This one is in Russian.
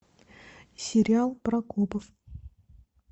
сериал про копов